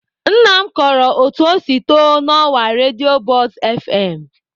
Nna m kọrọ otu o si too n'ọwa redio buzz fm.